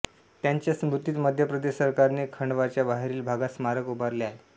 त्यांच्या स्मृतीत मध्य प्रदेश सरकारने खंडवाच्या बाहेरील भागात स्मारक उभारले आहे